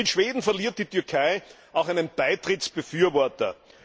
Mit Schweden verliert die Türkei auch einen Beitrittsbefürworter.